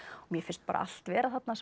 mér finnst bara allt vera þarna sem